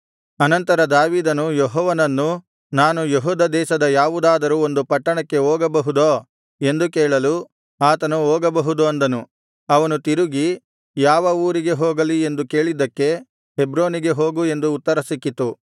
ಅನಂತರ ದಾವೀದನು ಯೆಹೋವನನ್ನು ನಾನು ಯೆಹೂದ ದೇಶದ ಯಾವುದಾದರು ಒಂದು ಪಟ್ಟಣಕ್ಕೆ ಹೋಗಬಹುದೋ ಎಂದು ಕೇಳಲು ಆತನು ಹೋಗಬಹುದು ಅಂದನು ಅವನು ತಿರುಗಿ ಯಾವ ಊರಿಗೆ ಹೋಗಲಿ ಎಂದು ಕೇಳಿದ್ದಕ್ಕೆ ಹೆಬ್ರೋನಿಗೆ ಹೋಗು ಎಂದು ಉತ್ತರ ಸಿಕ್ಕಿತು